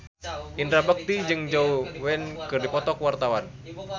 Indra Bekti jeung Zhao Wei keur dipoto ku wartawan